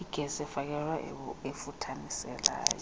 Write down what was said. igesi efakelweyo efuthaniselayo